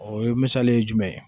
O ye misali ye jumɛn ye